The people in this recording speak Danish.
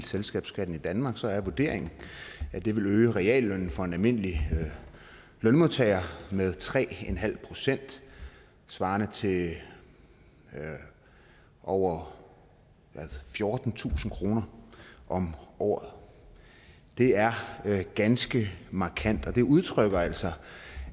selskabsskatten i danmark helt så er vurderingen at det vil øge reallønnen for en almindelig lønmodtager med tre procent svarende til over fjortentusind kroner om året det er ganske markant det udtrykker altså